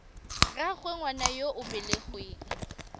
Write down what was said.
rraagwe ngwana yo o belegweng